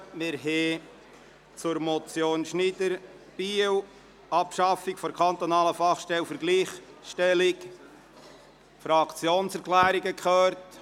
Wir haben zur Motion Schneider, Biel, «Abschaffung der kantonalen Fachstelle für die Gleichstellung», die Fraktionserklärungen gehört.